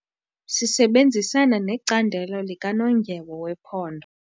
Sisebenzisana necandelo likanondyebo wephondo.